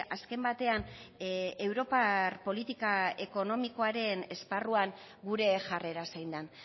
azken batean europar politika ekonomikoaren esparruan gure jarrera zein den